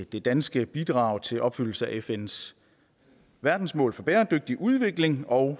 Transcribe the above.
det danske bidrag til opfyldelsen af fns verdensmål for bæredygtig udvikling og